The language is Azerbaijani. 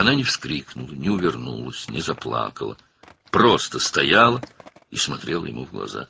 O, qışqırmadı, yayınmadı, ağlamadı, sadəcə dayanıb onun gözlərinə baxırdı.